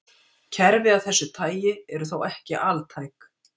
Kerfi af þessu tagi eru þó ekki altæk.